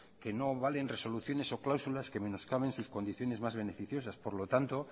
que no valen resoluciones o cláusulas que menoscaben sus condiciones más beneficiosas por lo tanto